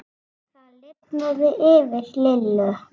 Það lifnaði yfir Lillu.